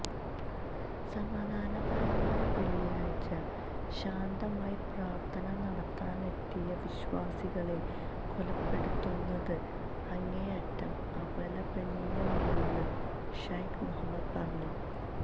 സമാധാനപരമായ വെള്ളിയാഴ്ച ശാന്തമായി പ്രാര്ത്ഥന നടത്താനെത്തിയ വിശ്വാസികളെ കൊലപ്പെടുത്തുന്നത് അങ്ങേയറ്റം അപലപനീയമാണന്ന് ശൈഖ് മുഹമ്മദ് പറഞ്ഞു